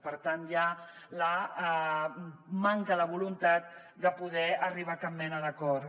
per tant ja la manca de voluntat de poder arribar a cap mena d’acord